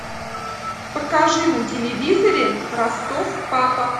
покажи на телевизоре ростов папа